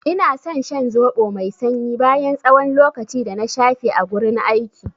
Ina san shan zoɓo mai sanyi bayan tsawon lokaci dana shafe a gurin aiki.